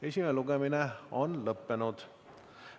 Esimene lugemine on lõpetatud.